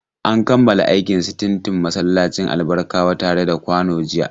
An kammala aikin sitintin masallacin Albarkawa tare da kwano jiya.